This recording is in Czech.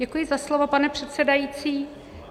Děkuji za slovo, pane předsedající.